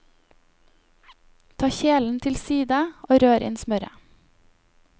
Ta kjelen til side og rør inn smøret.